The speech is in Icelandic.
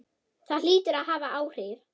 Það hlýtur að hafa áhrif.